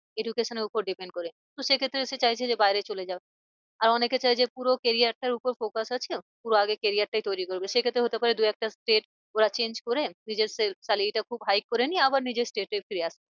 Education এর উপর depend করে। তো সে ক্ষেত্রে সে চাইছে যে বাইরে চলে যাক। আর অনেকে চায় যে পুরো career তার ওপর focus আছে ওর পুরো আগে career টাই তৈরী করবে। সে ক্ষেত্রে হতে পারে দু একটা state ওরা change করে নিজের salary টা খুব high করে নিয়ে আবার নিজের state এ ফিরে